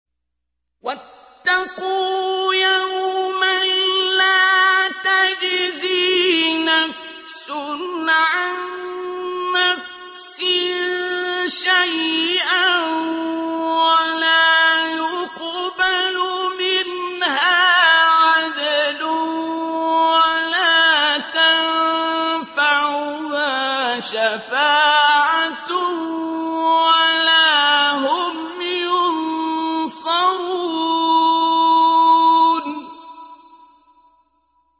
وَاتَّقُوا يَوْمًا لَّا تَجْزِي نَفْسٌ عَن نَّفْسٍ شَيْئًا وَلَا يُقْبَلُ مِنْهَا عَدْلٌ وَلَا تَنفَعُهَا شَفَاعَةٌ وَلَا هُمْ يُنصَرُونَ